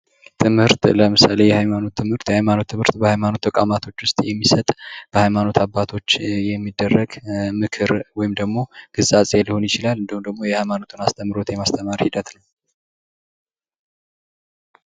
ትምህርት ለምሳሌ ሃይማኖት ትምህርት ሃይማኖት ትምህርት በሃይማኖት ተቋማቶች ውስጥ የሚሰጥ በሃይማኖት አባቶች የሚደረግ ምክር ወይም ደግሞ ግሳጼ ሊሆን ይችላል። እንዲሁም ደግሞ የሃይማኖትን አስተምሮት የማስተማር ሂደት ነው።